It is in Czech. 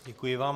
Děkuji vám.